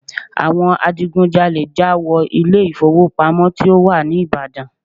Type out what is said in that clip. Àwọn adigunjalè já wọ ilé ìfowópamọ́ tí ó wà ní Ìbàdàn.